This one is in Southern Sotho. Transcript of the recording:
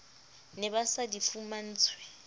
ne ba sa di fumantshwe